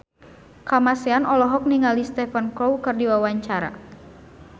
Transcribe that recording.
Kamasean olohok ningali Stephen Chow keur diwawancara